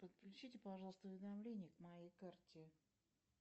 подключите пожалуйста уведомления к моей карте